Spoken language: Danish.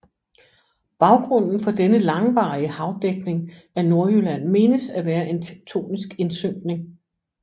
Baggrunden for denne langvarige havdækning af Nordjylland menes at være en tektonisk indsynkning